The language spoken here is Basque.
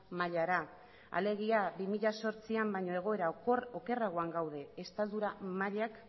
mailara alegia bi mila zortzian baino egoera okerragoan gaude estaldura mailak